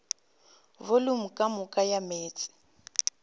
volumo ka moka ya meetse